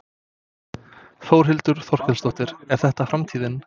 Þórhildur Þorkelsdóttir: Er þetta framtíðin?